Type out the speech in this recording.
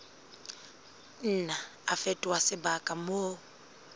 nna a fetoha sebaka moo